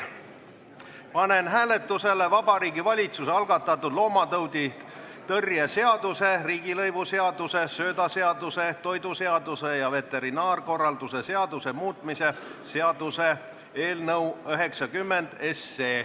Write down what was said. Panen hääletusele Vabariigi Valitsuse algatatud loomatauditõrje seaduse, riigilõivuseaduse, söödaseaduse, toiduseaduse ja veterinaarkorralduse seaduse muutmise seaduse eelnõu 90.